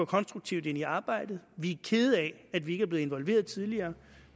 konstruktivt ind i arbejdet vi er kede af at vi ikke er blevet involveret tidligere